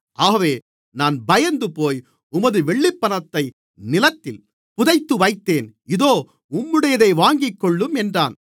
ஆகவே நான் பயந்துபோய் உமது வெள்ளிப்பணத்தை நிலத்தில் புதைத்து வைத்தேன் இதோ உம்முடையதை வாங்கிக்கொள்ளும் என்றான்